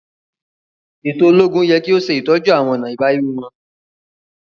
Eto ologun yẹ ki o ṣetọju awọn ọna ibawi wọn.